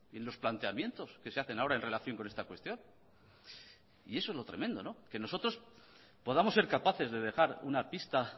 en los planteamientos que se hacen ahora en relación con esta cuestión y eso es lo tremendo que nosotros podamos ser capaces de dejar una pista